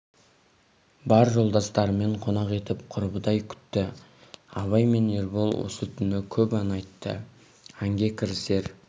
бар жолдастарымен қонақ етіп құрбыдай күтті абай мен ербол осы түні көп ән айтты әнге кірісер